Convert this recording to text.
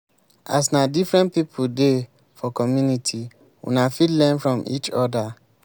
as na different pipo dey for community una fit learn from each oda